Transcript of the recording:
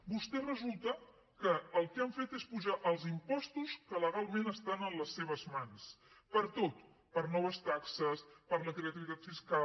vostès resulta que el que han fet és apujar els impostos que legalment estan en les seves mans per a tot per a noves taxes per a la creativitat fiscal